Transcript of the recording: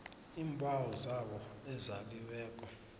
iimbawo zabo ezaliweko